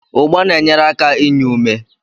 Ugba na-enyere aka inye ume.